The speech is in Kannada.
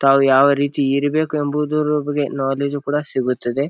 ತಾವು ಯಾವ ರೀತಿ ಇರಬೇಕು ಎಂಬುದರ ಬಗ್ಗೆ ನಾಲೆಜ್ ಕೂಡ ಸಿಗುತ್ತದೆ.